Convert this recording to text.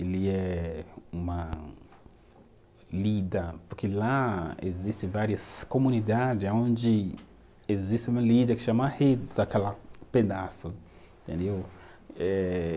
ele é uma lida, porque lá existe várias comunidade aonde existe uma que chama aquela pedaço, entendeu? Eh